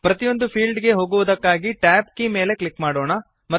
ಪ್ರತಿಯೊಂದು ಫೀಲ್ಡ್ ಗೆ ಹೋಗುವುದಕ್ಕಾಗಿ ಟ್ಯಾಬ್ ಕೀ ಮೇಲೆ ಕ್ಲಿಕ್ ಮಾಡೋಣ